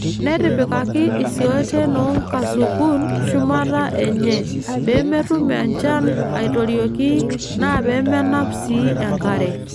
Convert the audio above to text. Netipikaki isiooten oo nkasukun shumata enye pee metum enchan aaitorioki naa peemenap sii enkare.